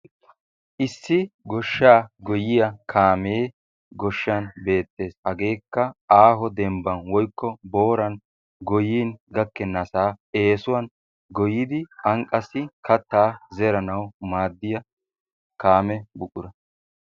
Issi goshshaa goyiya kaamee goshshaan beettees. Hageekka aaho demmbban woykk booran goyiyin gakkenassa essuwan goyidi an qassi kattaa zeranawu maadiyaa kaamee buqura.